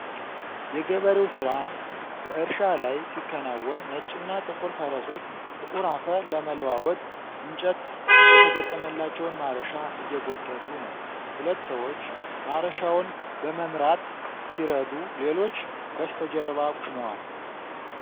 የገበሬው ሥራ በእርሻ ላይ ሲከናወን ነጭና ጥቁር ፈረሶች ጥቁር አፈር ለመለዋወጥ እንጨት የተገጠመላቸውን ማረሻ እየጎተቱ ነው። ሁለት ሰዎች ማረሻውን በመምራት ሲረዱ፣ ሌሎች በስተጀርባ ቆመዋል።